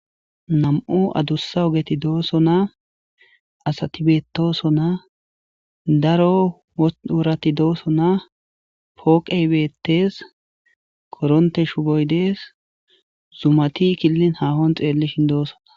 nam7o adussa ogeti dooso na asatibetooso na daro worati dooso na pooqeybeettees koronte shuboy dees zumati killin haahon xeellishin doosona